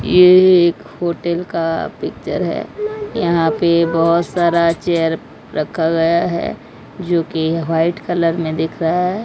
ये एक होटल का पिक्चर है यहां पे बहुत सारा चेयर रखा गया है जो कि व्हाइट कलर में दिख रहा है।